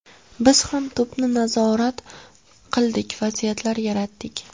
Biz ham to‘pni nazorat qildik, vaziyatlar yaratdik.